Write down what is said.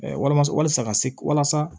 walama walasa ka se walasa